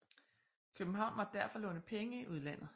København måtte derfor låne penge i udlandet